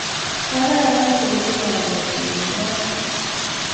kararan komii kalyet eng kot